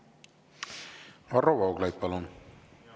Varro Vooglaid, palun!